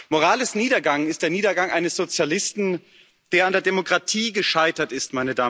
Morales' Niedergang ist der Niedergang eines Sozialisten, der an der Demokratie gescheitert ist.